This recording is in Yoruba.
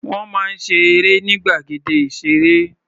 Wọ́n máa ń ṣe eré ní gbàgede ìṣeré.